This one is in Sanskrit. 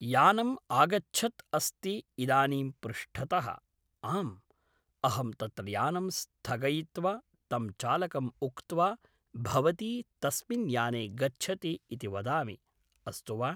यानम् आगच्छत् अस्ति इदानीं पृष्टत:, आम् अहं तत्र यानं स्थगयित्वा तं चालकम् उक्त्वा भवती तस्मिन् याने गच्छति इति वदामि अस्तु वा